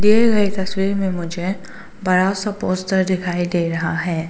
दिए गए तस्वीर में मुझे बड़ा सा पोस्टर दिखाई दे रहा है।